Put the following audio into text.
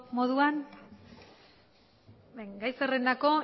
moduan gai zerrendako